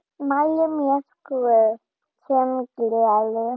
Mæli með Gröf sem gleður.